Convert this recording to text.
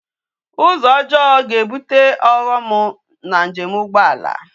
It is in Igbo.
Uzo ojoo ga ebute oghom na njem ugboala